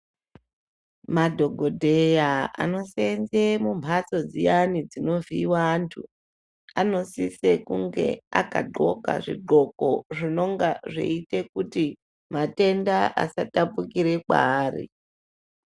Madhokodheya anosenza mumbatso dziyani dzinovhiirwa vantu anosisa kunge akagonka zvigonko zvinonga zveita kuti matenda asatapukira kwaari.